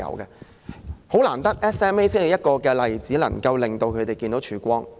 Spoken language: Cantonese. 十分難得的是 ，SMA 的例子能讓他們看到曙光。